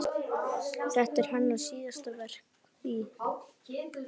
Þetta er hennar síðasta verk í